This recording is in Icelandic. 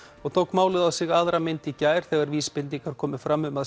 og tók málið á sig aðra mynd í gær þegar vísbendingar komu fram um að